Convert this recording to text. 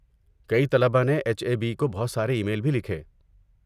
کئی طلبہ نے ایچ اے بی کو بہت سارے ای میل بھی لکھے۔